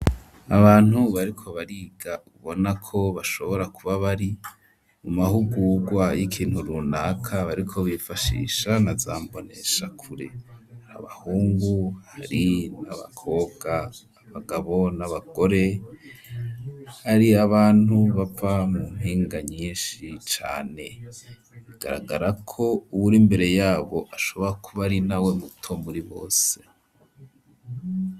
Abantu bariko bariga ubona ko bashobora kuba bari mu mahugurwa y'ikintu runaka bariko bifashisha naza mbonesha kure abahungu hari n'abakobwa abagabo n'abagore hari abantu bava mu mpinga nyishi cane bigaragara ko uwuri imbere yabo ashobora kuba ari nawe muto muri bose.